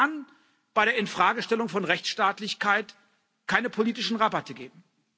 Aber es kann bei der Infragestellung von Rechtsstaatlichkeit keine politischen Rabatte geben.